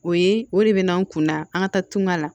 O ye o de bɛ n'an kunna an ka taa tunga la